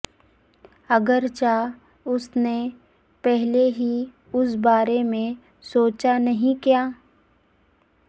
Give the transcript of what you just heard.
اگرچہ اس نے پہلے ہی اس بارے میں سوچا نہیں کیا